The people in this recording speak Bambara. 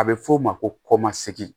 A bɛ f'o ma ko kɔmasegin